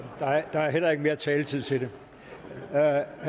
der er heller ikke mere taletid til det herre